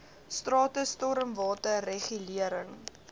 strate stormwater regulering